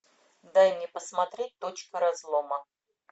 дай мне посмотреть точка разлома